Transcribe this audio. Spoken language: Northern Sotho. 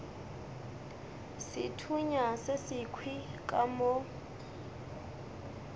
sethunya se sekhwi ka mo